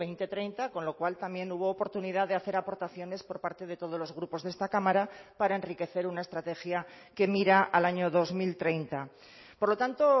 dos mil treinta con lo cual también hubo oportunidad de hacer aportaciones por parte de todos los grupos de esta cámara para enriquecer una estrategia que mira al año dos mil treinta por lo tanto